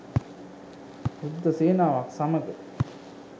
යුද්ධ සේනාවක් සමග